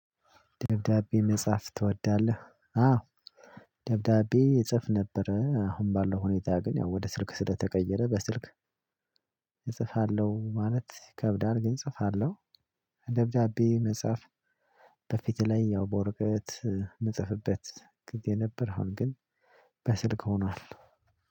ደብዳቤ መጽሐፍ ትወዳለህ አዎ ደብዳቤ እጽፍ ነበር አሁን ባለው ሁኔታ ግን ያው ወደ ስልክ ስለተቀየረ በስልክ እጽፋለሁ ማለት ይከብዳል። ግን እጽፋለሁ። ደብዳቤ መጽሐፍ በፊቴ ላይ ያው በወርቀት ምጽፍበት ግዜ ነበር አሁን ግን በስልክ ሆኗል።